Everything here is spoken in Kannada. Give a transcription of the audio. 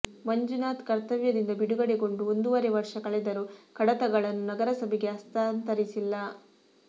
ಮಂಜುನಾಥ್ ಕರ್ತವ್ಯದಿಂದ ಬಿಡುಗಡೆಗೊಂಡು ಒಂದೂವರೆ ವರ್ಷ ಕಳೆದರೂ ಕಡತಗಳನ್ನು ನಗರಸಭೆಗೆ ಹಸ್ತಾಂತರಿಸಿಲ್ಲ